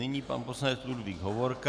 Nyní pan poslanec Ludvík Hovorka.